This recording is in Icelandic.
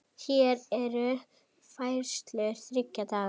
Hér eru færslur þriggja daga.